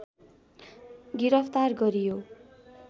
गिरफ्तार गरियो